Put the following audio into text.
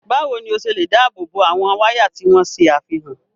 Báwo ni o ṣe lè dáàbò bo àwọn wáyà tí wọ́n ṣe àfihàn?